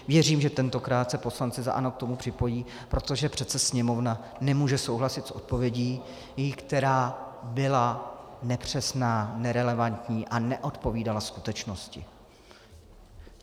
Věřím, že tentokrát se poslanci za ANO k tomu připojí, protože přece Sněmovna nemůže souhlasit s odpovědí, která byla nepřesná, nerelevantní a neodpovídala skutečnosti.